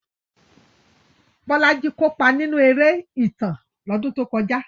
Bolaji kópa nínú eré ìtàn lọ́dún tó kọjá.